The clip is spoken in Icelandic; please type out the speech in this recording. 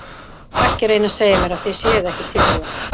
Og ekki reyna að segja mér að þið séuð ekki tilbúin.